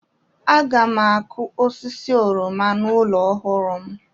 Aga m akụ osisi oroma n'ụlọ ọhụrụ m.